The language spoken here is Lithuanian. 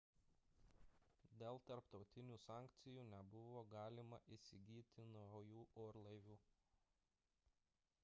dėl tarptautinių sankcijų nebuvo galima įsigyti naujų orlaivių